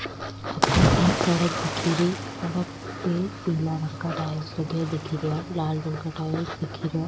अठे एक सड़क दिख रही सड़क पे पिला रंग का टाइल्स लगे दिख रा लाल रंग का टाइल्स दिख रा।